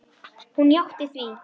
Hún játti því.